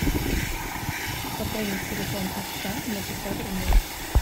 пополни телефон отца на пятьсот рублей